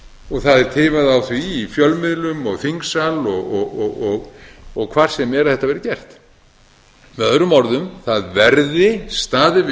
og það er tifað á því í fjölmiðlum og þingsal og hvar sem er að þetta verði gert með öðrum orðum það verði staðið við